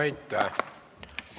Aitäh!